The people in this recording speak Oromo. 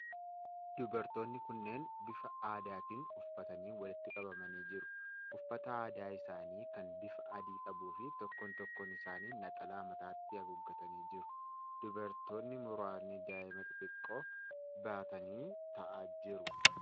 Dubartoonni kunneen bifa aadaatiin uffatanii walitti qabamanii jiru. Uffata aadaa isaanii kan bifa adii qabuu fi tokkoon tokkoon isaanii naxalaa mataatti haguuggatanii jiru. Dubartoonni muraasni daa'ima xixiqqoo baatanii taa'aa jiru.